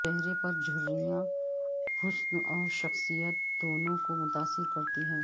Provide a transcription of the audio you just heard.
چہرے پر جھریاں حسن اور شخصیت دونوں کو متاثر کرتی ہیں